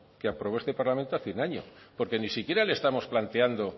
que aprobó este parlamento hace un año porque ni siquiera le estamos planteando